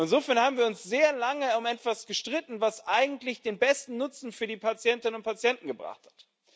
Insofern haben wir uns sehr lange um etwas gestritten, was eigentlich den besten Nutzen für die Patientinnen und Patienten gebracht hat.